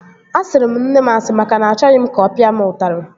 Asịrị m nne m asị maka na achọghị m ka ọ pịa m ụtarị